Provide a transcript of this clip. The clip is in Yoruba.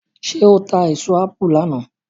ṣe o ta èso apu lànà?